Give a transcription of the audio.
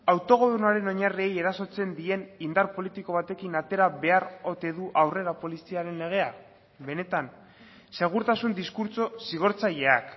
autogobernuaren oinarriei erasotzen dien indar politiko batekin atera behar ote du aurrera poliziaren legea benetan segurtasun diskurtso zigortzaileak